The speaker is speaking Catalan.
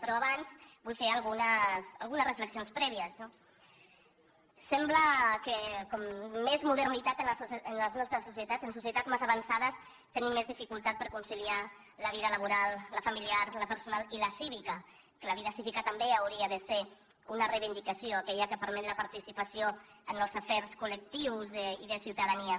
però abans vull fer algunes reflexions prèvies no sembla que com més modernitat en les nostres societats en societats més avançades tenim més dificultat per conciliar la vida laboral la familiar la personal i la cívica que la vida cívica també hauria de ser una reivindicació aquella que permet la participació en els afers col·lectius i de ciutadania